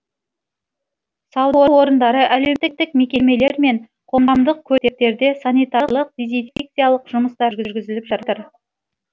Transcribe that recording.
сауда орындары әлеуметтік мекемелер мен қоғамдық көліктерде санитарлық дезинфекциялық жұмыстар жүргізіліп жатыр